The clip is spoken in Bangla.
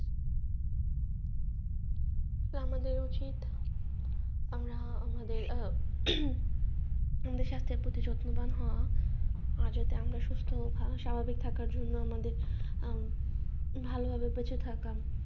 তো আমাদের উচিত আমরা আমাদের যত্নবান হওয়া যাতে আমরা সুস্থ ভাবে স্বাভাবিক থাকার জন্য আমাদের ভালো ভাবে বেঁচে থাকা